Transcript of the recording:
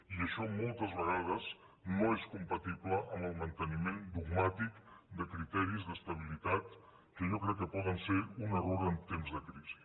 i això moltes vegades no és compatible amb el manteniment dogmàtic de criteris d’estabilitat que jo crec que poden ser un error en temps de crisi